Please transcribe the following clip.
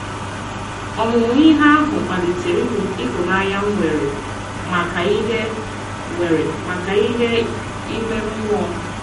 Ọmụmụ ihe ahụ kpalitere ịhụnanya m nwere maka ihe nwere maka ihe ime mmụọ